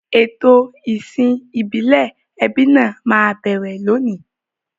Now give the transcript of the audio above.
Ètò ìsìn ìbílẹ̀ ẹbí náà máa bẹ̀rẹ̀ lónìí.